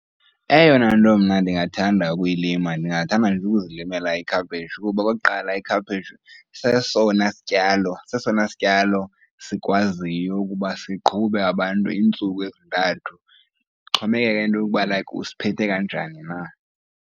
Eyona nto mna ndingathanda ukuyilima ndingathanda nje ukuzilimela ikhaphetshu. Kuba okokuqala, ikhaphetshu sesona sityalo sesona sityalo sikwaziyo ukuba siqhube abantu iintsuku ezintathu, kuxhomekeke into yokuba like usiphethe kanjani na.